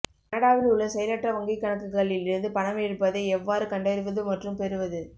கனடாவில் உள்ள செயலற்ற வங்கிக் கணக்குகளில் இருந்து பணம் எடுப்பதை எவ்வாறு கண்டறிவது மற்றும் பெறுவது